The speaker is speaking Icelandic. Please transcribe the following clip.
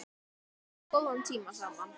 Við áttum góða tíma saman.